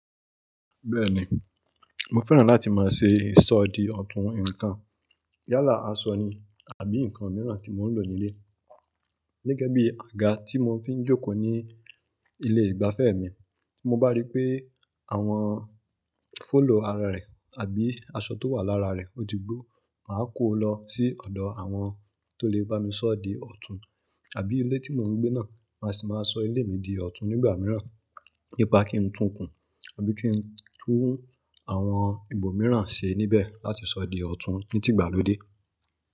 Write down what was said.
Bẹ́ẹ̀ ni, mo fẹ́ràn láti máa ṣe ìsọ di ọ̀tún nǹkan yálà aṣọ ni àbí nǹkan mìíràn tí mò ń lò nílé. Gẹ́gẹ́ bí àga tí mo fi ń jókòó ní ilé ìgbafẹ́ mi. Mo bá rí pé àwọn fọ́lò ara rẹ̀ àbí asọ tó wà lára rẹ̀ ó ti gbó, màá kó o lọ sí ọ̀dọ̀ àwọn tó lè bá mi sọ di ọ̀tún. Àbí ilé tí mò ń gbé náà, màá sì máa sọ ilé mi di ọ̀tún nígbà mìíràn. Nípa kí n tún kùn àbí kí n tún àwọn ìbò mìíràn ṣe níbẹ̀ láti sọ di ọ̀tún ní ti ìgbàlódé.